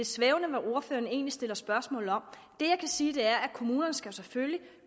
svævende hvad ordføreren egentlig stiller spørgsmål om det jeg kan sige er at kommunerne selvfølgelig